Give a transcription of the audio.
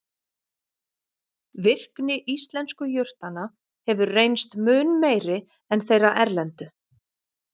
Virkni íslensku jurtanna hefur reynst mun meiri en þeirra erlendu.